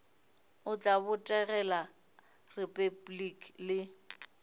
o tla botegela repabliki le